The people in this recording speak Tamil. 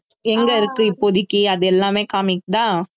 எங்க இருக்கு இப்போதைக்கு அது எல்லாமே காமிக்குதா